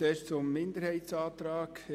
Zuerst zum Minderheitsantrag